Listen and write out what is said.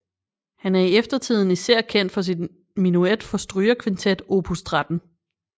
Han er i eftertiden især kendt for sin menuet fra strygekvintet opus 13